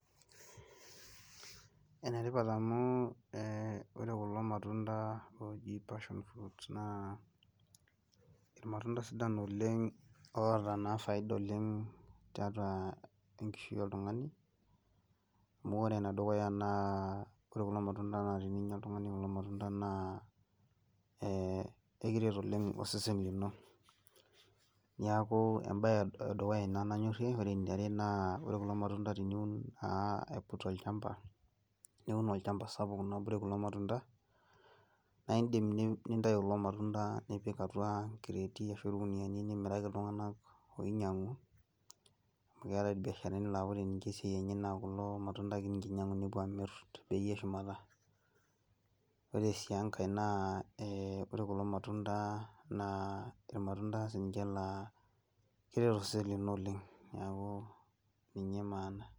Enetipat amu ore kulo matunda oji passion fruit naa irmatunda sidan oleng oota naa faida oleng tiatua enkishui oltung'ani, amu ore enedukuya naa ore kulo matunda na teninya oltung'ani kulo matunda naa ekiret oleng osesen lino. Niaku ebae edukuya ina nanyorrie. Ore eniare naa ore kulo matunda teniun naa aiput olchamba, niun olchamba sapuk naa obore kulo matunda, na idim nintayu kulo matunda nipik atua nkireeti ashu irkuniyiani nimiraki iltung'anak oinyang'u, keetae irbiasharani la ore nye esiai enye naa kulo matunda akenye inyang'u nepuo amir tebei eshumata. Ore si enkae naa ore kulo matunda naa irmatunda sinche la keret osesen lino oleng. Neeku ninye maana.